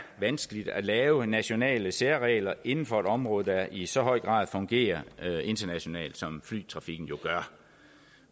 vanskeligt at lave nationale særregler inden for et område der i så høj grad fungerer internationalt som flytrafikken jo gør